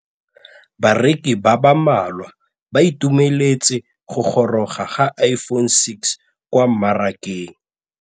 Bareki ba ba malwa ba ituemeletse go gôrôga ga Iphone6 kwa mmarakeng.